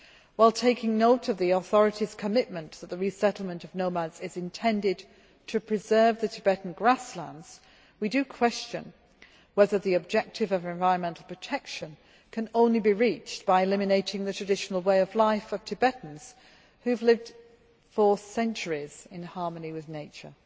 While taking note of the Chinese authority's commitment that the resettlement of nomads is intended to preserve the Tibetan grasslands, we do question whether the objective of environmental protection can only be reached by eliminating the traditional way of life of Tibetans who have lived for centuries in harmony with nature.